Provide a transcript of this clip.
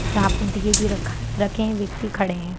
जहाँ पे दीये भी रखा रखे हैं व्यक्ति खड़े है।